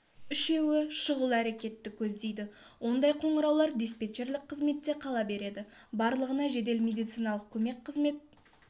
үшеуі шұғыл әрекетті көздейді ондай қоңыраулар диспетчерлік қызметте қала береді барлығына жедел медициналық көмек қызмет